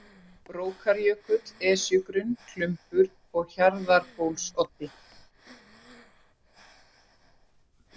Brókarjökull, Esjugrunn, Klumbur, Hjarðarbólsoddi